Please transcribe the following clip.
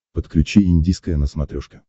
подключи индийское на смотрешке